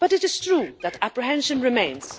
But it is true that apprehension remains.